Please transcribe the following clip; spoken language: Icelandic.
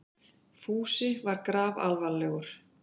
Fúsi var grafalvarlegur.